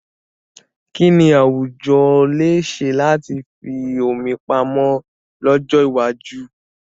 Kí ni àwùjọ lè ṣe láti fi omi pamọ́ lọ́jọ́ iwájú?